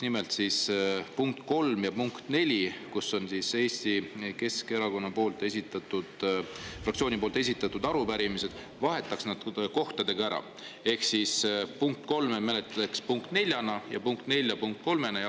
Nimelt on ettepanek vahetada punkt kolm ja punkt neli, mis on Eesti Keskerakonna fraktsiooni esitatud arupärimised, omavahel ära ehk siis punkt kolme me menetleks punkt neljana ja punkt nelja punkt kolmena.